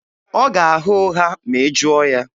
Ọ ga-agha ụgha ma ị jụọ ya.